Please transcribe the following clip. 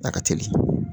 A ka teli